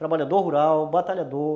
Trabalhador rural, batalhador.